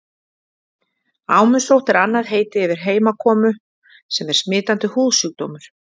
Ámusótt er annað heiti yfir heimakomu sem er smitandi húðsjúkdómur.